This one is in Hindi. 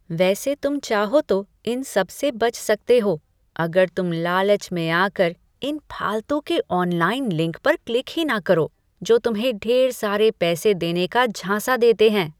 वैसे तुम चाहो तो इन सबसे बच सकते हो, अगर तुम लालच में आकर इन फालतू के ऑनलाइन लिंक पर क्लिक ही ना करो, जो तुम्हें ढेर सारे पैसे देने का झांँसा देते हैं।